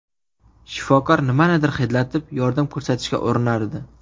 Shifokor nimanidir hidlatib, yordam ko‘rsatishga urinardi.